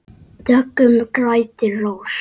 Döggum grætur rós.